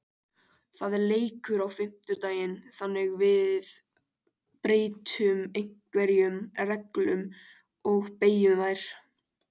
Það er leikur á fimmtudaginn þannig að við breytum einhverjum reglum og beygjum þær.